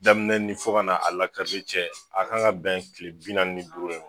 Daminɛ ni fɔ ka na a lakari cɛ a kan ka bɛn kile bi naani ni duuru de ma